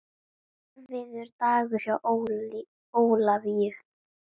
Erfiður dagur hjá Ólafíu